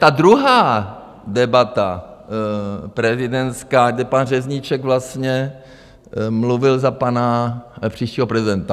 Ta druhá debata prezidentská, kde pan Řezníček vlastně mluvil za pana příštího prezidenta.